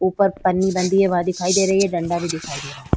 उपर पन्नी बंधी है। वा दिखाई दे रही है डंडा भी दिखाई दे रहा है।